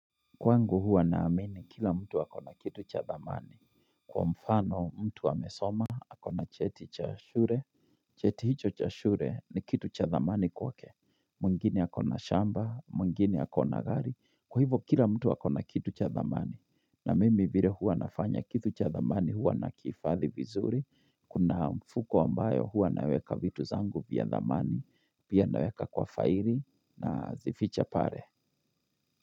Kwangu huwa naamini kila mtu wa kona kitu cha dhamani Kwa mfano mtu wa mesoma na cheti cha shure Cheti hicho cha shule ni kitu cha dhamani kwa ke Mungini hako na shamba, mungini hako na gari, kwa hivo kila mtu wa kona kitu cha dhamani na mimi vire huwa nafanya kitu cha dhamani huwa na kifathi vizuri, kuna mfuko ambayo huwa naweka vitu zangu vya dhamani vya naweka kwa faili na zificha pare.